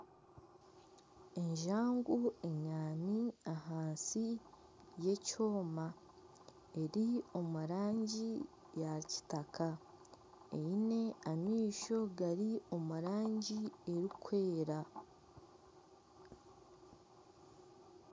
Enjangu enyaami ahansi y'ekyoma. Eri omurangi ya kitaka. Eine amaisho gari omu rangi erikwera.